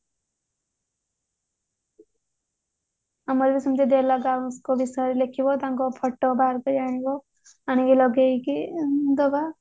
ଆମର ବି ସେମିତି ବିଷୟରେ ଲେଖିବ ତାଙ୍କ photo biopic ଆଣିବ ଆଣିକି ଲଗେଇକି ଦବ